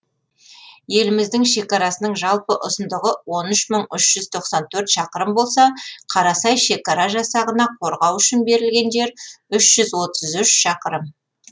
еліміздің шекарасының жалпы ұзындығы он үш мың үш жүз тоқсан төрт шақырым болса қарасай шекара жасағына қорғау үшін берілген жер үш жүз отыз үш шақырым